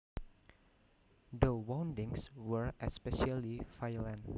The woundings were especially violent